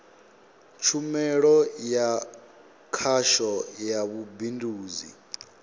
tshumelo ya khasho ya vhubindudzi